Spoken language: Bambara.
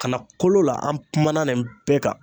Kana kolo la? an kumana nin bɛɛ kan.